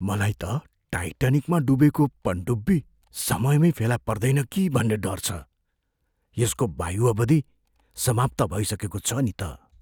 मलाई त टाइटानिकमा डुबेको पनडुब्बी समयमै फेला पर्दैन कि भन्ने डर छ। यसको वायु अवधि समाप्त भइसकेको छ नि त।